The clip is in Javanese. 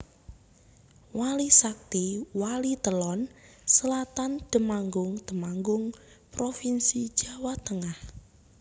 Wali Sakti Walitelon Selatan Temanggung Temanggung provinsi Jawa Tengah